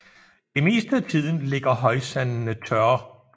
Det meste af tiden ligger højsandene tørre